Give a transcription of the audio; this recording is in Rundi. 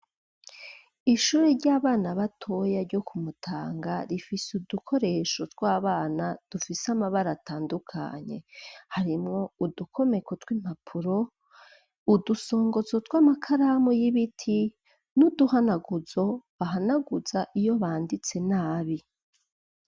Ishure ry'abana batoya ryo ku Mutanga rifise udukoresho tw'abana dufise amabara atandukanye harimwo udukomeko tw'impapuro udusongozo tw'amakaramu y'ibiti n'uduhanaguzo bahanaguza iyo banditse nabi.